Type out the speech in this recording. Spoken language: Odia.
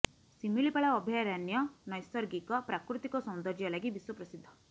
ଶିମିଳିପାଳ ଅଭୟାରଣ୍ୟ ନୈସର୍ଗିକ ପ୍ରାକୃତିକ ସୌନ୍ଦର୍ଯ୍ୟ ଲାଗି ବିଶ୍ୱ ପ୍ରସିଦ୍ଧ